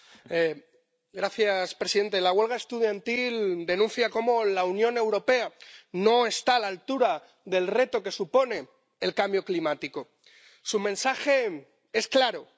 Señor presidente, la huelga estudiantil denuncia cómo la Unión Europea no está a la altura del reto que supone el cambio climático. Su mensaje es claro.